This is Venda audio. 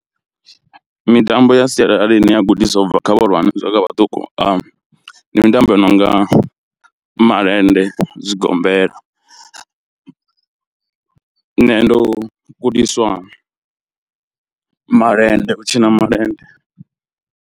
Mitambo ya sialala ine ya gudiswa ubva kha vhahulwane na vhaṱuku ndi mitambo i nonga malende, zwigombela. Nṋe ndo gudiswa malende u tshina malende.